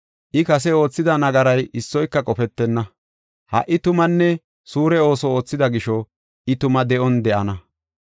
I kase oothida nagaray issoy qofetenna; ha77i tumanne suure ooso oothida gisho, I tuma de7on daana.